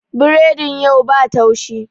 Biredin yau ba laushi